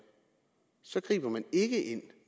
så griber man ikke ind